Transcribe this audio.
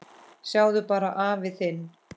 Sjáðu bara afa þinn.